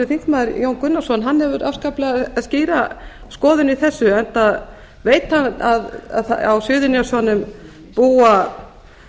þingmaður jón gunnarsson hefur afskaplega skýra skoðun í þessu enda veit hann að á suðurnesjum búa